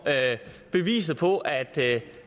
beviset på at